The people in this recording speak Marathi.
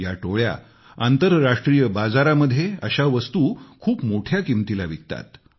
या टोळ्या आंतरराष्ट्रीय बाजारामध्ये अशा वस्तू खूप मोठ्या किंमतीला विकतात